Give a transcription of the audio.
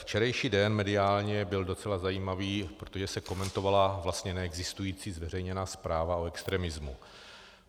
Včerejší den mediálně byl docela zajímavý, protože se komentovala vlastně neexistující zveřejněná zpráva o extremismu.